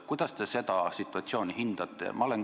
Kuidas te seda situatsiooni hindate?